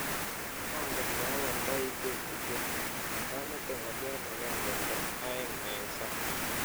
Mangen leawaldai teputietni, kemete ng'aliot agenge nda aeng eng sang.